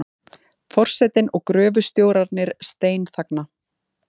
Forsetinn og gröfustjórarnir steinþagna.